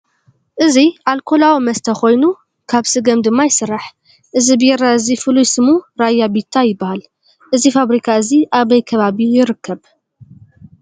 እዚ ኣልኮላዊ መስተ ኮይኑ ካብ ስገም ድማ ይስራሕ። እዚ ቢራ እዚ ፍሉይ ስሙ ራያ ቢታ ይባሃል። እዚ ፋብሪካ እዚ ኣበይ ከባቢ ይርከብ?